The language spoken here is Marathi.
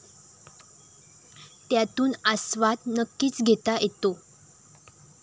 त्यातून आस्वाद नक्कीच घेता येतो!